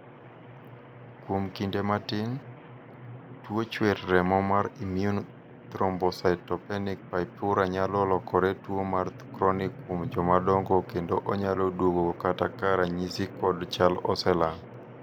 kuom kinde matin, tuo chuer remo mar immune thrombocytopenic purpura nyalo lokore tuo mar chronic kuom joma dongo kendo onyalo duogo kata ka ranyisi kod chal oselal